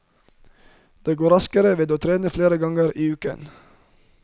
Det går raskere ved å trene flere ganger i uken.